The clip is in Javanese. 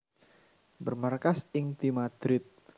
Bermarkas ing di Madrid